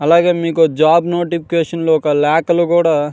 అలాగే మీకో job notification లో ఒక లేఖలు కుడా --